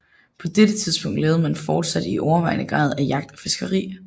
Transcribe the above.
På dette tidspunkt levede man fortsat i overvejende grad af jagt og fiskeri